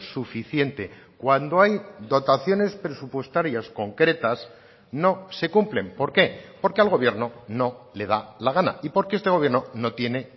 suficiente cuando hay dotaciones presupuestarias concretas no se cumplen por qué porque al gobierno no le da la gana y porque este gobierno no tiene